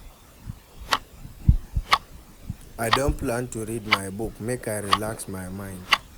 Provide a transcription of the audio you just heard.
I don plan to read my book, make I relax my mind.